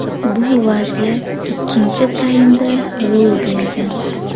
Bu vaziyat ikkinchi taymda ro‘y bergan.